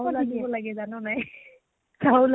চাউল আনিব লাগে জান নাই চাউল আনিব